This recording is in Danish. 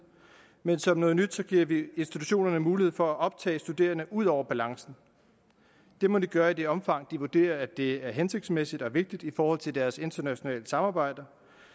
men som noget nyt giver vi institutionerne mulighed for at optage studerende ud over balancen det må de gøre i det omfang de vurderer at det er hensigtsmæssigt og vigtigt i forhold til deres internationale samarbejde